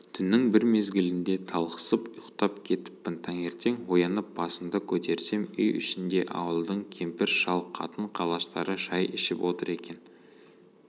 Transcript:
түннің бір мезгілінде талықсып ұйықтап кетіппін таңертең оянып басымды көтерсем үй ішінде ауылдың кемпір-шал қатын-қалаштары шай ішіп отыр екен